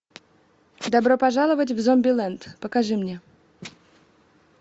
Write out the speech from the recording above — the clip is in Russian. добро пожаловать в зомбилэнд покажи мне